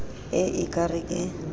e e ka re ke